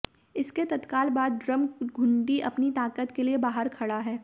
इसके तत्काल बाद ड्रम घुंडी अपनी ताकत के लिए बाहर खड़ा है